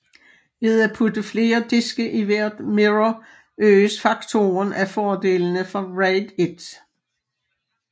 Ved at putte flere diske i hvert mirror øges faktoren af fordelene fra RAID 1